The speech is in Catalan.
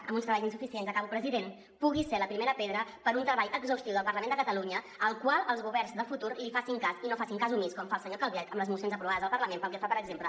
amb uns treballs insuficients acabo president pugui ser la primera pedra per a un treball exhaustiu del parlament de catalunya al qual els governs de futur li facin cas i no en facin cas omís com fa el senyor calvet amb les mocions aprovades al parlament pel que fa per exemple